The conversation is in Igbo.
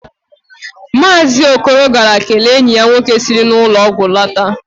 Maazị Okoro gara kelee enyi ya nwoke siri n'ụlọ ọgwụ lọta